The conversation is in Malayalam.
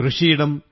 കൃഷിയിടം